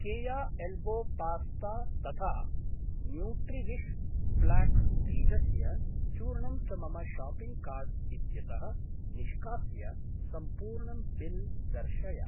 केया elbow pasta तथा Nutriwish flax बीजस्य चूर्णं च मम शाप्पिङ्ग् कार्ट् इत्यतः निष्कास्य सम्पूर्णं बिल् दर्शय।